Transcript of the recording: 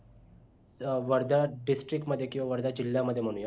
अं Wardha district मध्ये किंवा वर्धा जिल्हा मध्ये म्हणूया